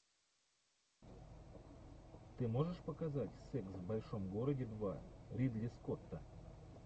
ты можешь показать секс в большом городе два ридли скотта